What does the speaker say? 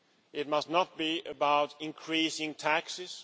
It must not be about increasing taxes.